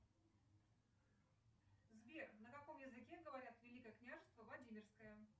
сбер на каком языке говорят великое княжество владимирское